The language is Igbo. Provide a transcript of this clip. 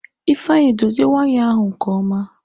Ifeanyị dozie waya ahụ nke ọma!